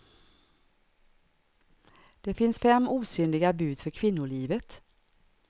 Det finns fem osynliga bud för kvinnolivet.